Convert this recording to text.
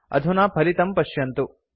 अधुना फलितं पश्यन्तु